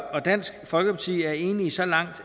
og dansk folkeparti er enige så langt